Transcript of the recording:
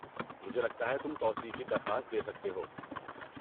مجھے لگتا ہے تم توسیع کی درخواست دے سکتے ہو۔